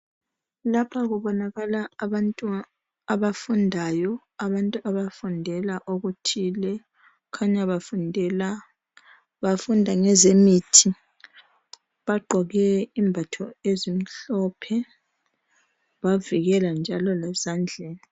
Lapha kubonakala abantu abafundayo abantu abafundela okuthile kukhanya bafundela bafunda ngezemithi bagqoke izembatho ezimhlophe bavikela njalo lezandleni.